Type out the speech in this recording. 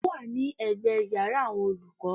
Ó wà ní ègbé iyàrá àwon olúkó